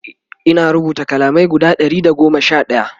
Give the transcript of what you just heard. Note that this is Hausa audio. Ina rubuta kalamai guda Ɗari da goma Sha ɗaya